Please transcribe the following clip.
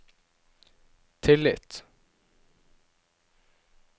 tillit